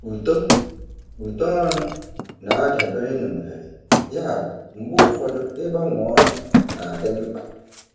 Uto Uto ọrụ na-adabere na ohere, yabụ mgbe ụfọdụ ịgbanwe ọrụ na-adị mkpa.